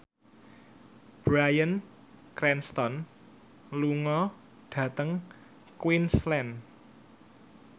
Bryan Cranston lunga dhateng Queensland